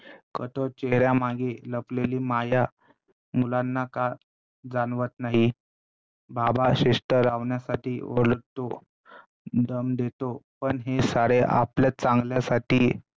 कठोर चेहऱ्यामागे लपलेली माया मुलांना का जाणवत नाही. बाबा शिस्त लावण्यासाठी ओरडतो, दम देतो पण हे सारे आपलं चांगल्यासाठी